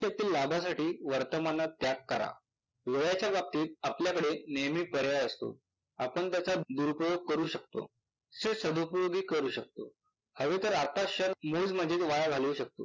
उपयुक्त लाभासाठी वर्तमानात त्याग करा. वेळेच्या बाबतीत आपल्याकडे नेहमी पर्याय असतो. आपलं त्याचा दुरुपयोग करू शकतो से सडुउपोयोगही करू शकतो. हवे तर आता शर्त मूड मजेत घालवू शकतो.